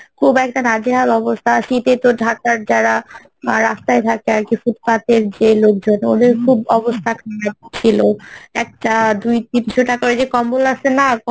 খুব একটা নাজেহাল অবস্থা শীতে তো ঢাকার যারা রাস্তায় থাকে আরকি, footpath এর যে লোকজন ওদের খুব অবস্থা খারাপ ছিলো একটা দুই তিনশো টাকার ওই কম্বল আসে না